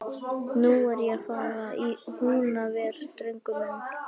Og nú er ég að fara í Húnaver, drengur minn.